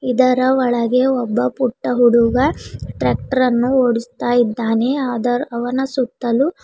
ಇದರ ಒಳಗೆ ಒಬ್ಬ ಪುಟ್ಟ ಹುಡುಗ ಟ್ರ್ಯಾಕ್ಟರ್ ಅನ್ನು ಓಡಿಸ್ತಾ ಇದ್ದಾನೆ ಅದರ ಅವನ ಸುತ್ತಲೂ --